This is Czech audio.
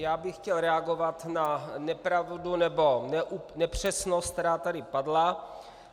Já bych chtěl reagovat na nepravdu nebo nepřesnost, která tady padla.